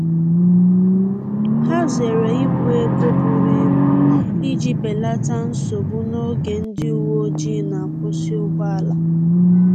Ha zere ibu ego buru ibu iji belata nsogbu n’oge ndị uweojii na-akwusi ụgbọala